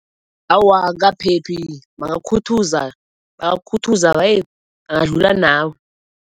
Awa, akukaphephi bangakukhuthaza, bangakukhuthaza bangadlula nawe.